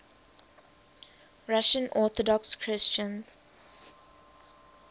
russian orthodox christians